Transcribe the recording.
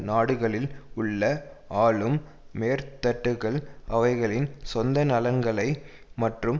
நாடுகளில் உள்ள ஆளும் மேற்தட்டுக்கள் அவைகளின் சொந்த நலன்களை மற்றும்